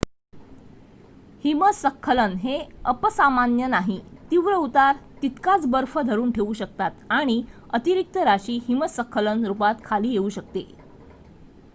हिमस्खलन हे अपसामान्य नाही तीव्र उतार तितकाच बर्फ धरून ठेवू शकतात आणि अतिरिक्त राशी हिमस्खलन रुपात खाली येऊ शकते